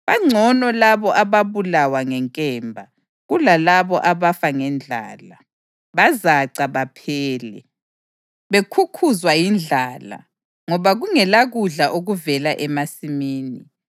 Bangcono labo ababulawa ngenkemba, kulalabo abafa ngendlala; bazaca baphele, bekhukhuzwa yindlala ngoba kungelakudla okuvela emasimini.